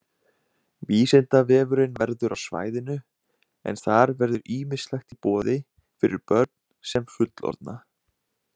Vísindavefurinn verður á svæðinu en þar verður ýmislegt í boði fyrir börn sem fullorðna.